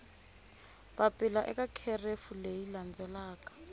papila eka kherefu leyi landzelaka